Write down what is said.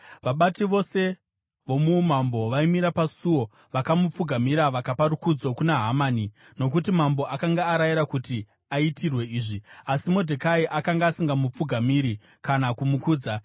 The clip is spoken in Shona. Vabati vose vomuumambo vaimira pamusuo vakamupfugamira vakapa rukudzo kuna Hamani, nokuti mambo akanga arayira kuti aitirwe izvi. Asi Modhekai akanga asingamupfugamiri kana kumukudza.